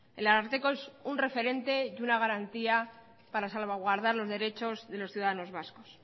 el ararteko es un referente y una garantía para salvaguardar los derechos de los ciudadanos vascos